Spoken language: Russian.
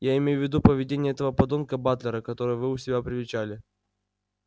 я имею в виду поведение этого подонка батлера которого вы у себя привечали